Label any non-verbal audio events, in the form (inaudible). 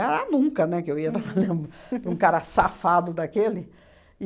nunca, né, que eu ia (laughs) trabalhar para um cara safado daquele.